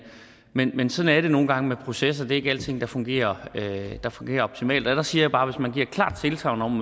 men men sådan er det nogle gange med processer det er ikke alting der fungerer der fungerer optimalt og der siger jeg bare hvis man giver et klart tilsagn om